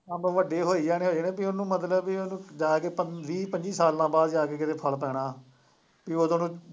ਅੰਬ ਵੱਡੇ ਹੋਈ ਜਾਣੇ ਹੋਈ ਜਾਣੇ, ਤੁਸੀਂ ਉਹਨੂੰ ਮਤਲਬ ਬਈ ਉਹਨੂੰ ਜਾ ਕੇ ਵੀਹ ਵੀਹ ਪੱਚੀ ਸਾਲਾਂ ਬਾਅਦ ਜਾ ਕੇ ਕਿਤੇ ਫਲ ਪੈਣਾ, ਇਹ ਉਦੋਂ ਨੂੰ